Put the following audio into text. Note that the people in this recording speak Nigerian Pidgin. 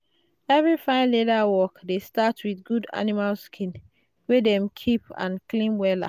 every fine leather work dey start with good animal skin wey dem keep and clean wella.